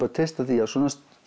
að treysta því að á svona